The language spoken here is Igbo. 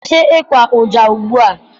Kwụsị ịkwa ụja ugbua!